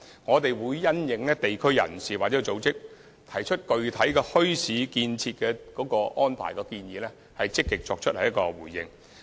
我們會因應地區人士或組織就安排設立墟市提出的具體建議，積極作出回應。